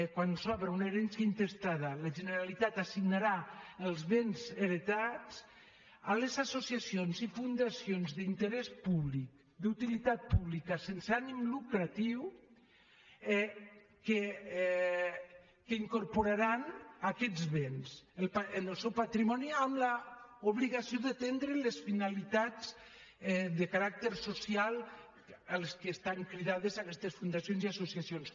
quan s’obre una herència intestada la generalitat assignarà els béns heretats a les associacions i fundacions d’interès públic d’utilitat pública sense ànim lucratiu que incorporaran aquests béns en el seu patrimoni amb l’obligació d’atendre les finalitats de caràcter social a les quals estan cridades aquestes fundacions i associacions